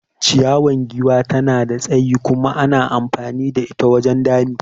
Ciyawan giwa tana da tsayi kuma ana amfani da ita wajen dami.